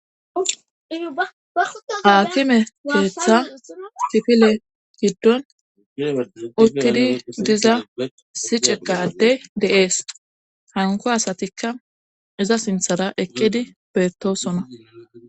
Atime keeththa tifile giddon uttidi diza siceqadey de'ees hanko asatikka iza sinthara eqqidi beettosona